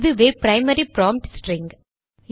இதுவே primary prompt string